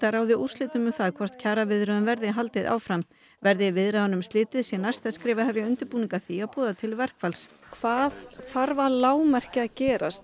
ráði úrslitum um það hvort kjaraviðræðum verði haldið áfram eða verði viðræðunum slitið sé næsta skref að hefja undirbúning að því að boða til verkfalls hvað þarf að lágmarki að gerast